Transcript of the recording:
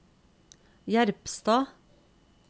Jerpstad